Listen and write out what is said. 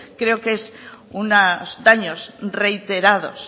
creo que son unos daños reiterados